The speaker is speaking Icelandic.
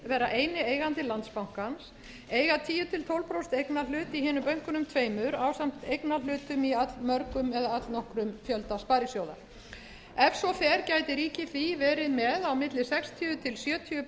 vera eini eigandi landsbankans eiga tíu til tólf prósent eignarhlut í hinum bönkunum tveimur ásamt eignarhlutum í allmörgum eða allnokkrum fjölda sparisjóða ef svo fer gæti ríkið því verið með á milli sextíu til sjötíu prósent hlutdeild